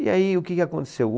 E aí, o que que aconteceu?